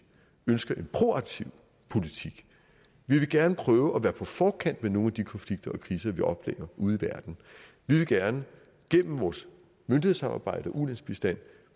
ønsker en proaktiv politik vi vil gerne prøve at være på forkant med nogle af de konflikter og kriser vi oplever ude i verden vi vil gerne gennem vores myndighedssamarbejde og ulandsbistand